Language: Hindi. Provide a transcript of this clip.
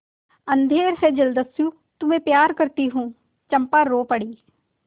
अंधेर है जलदस्यु तुम्हें प्यार करती हूँ चंपा रो पड़ी